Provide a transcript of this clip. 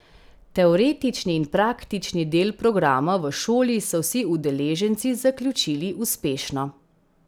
Teoretični in praktični del programa v šoli so vsi udeleženci zaključili uspešno.